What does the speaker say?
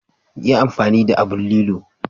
Yi amfani da aɓn lillo..